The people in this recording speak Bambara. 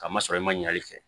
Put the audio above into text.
A ma sɔrɔ i ma ɲin'ale fɛ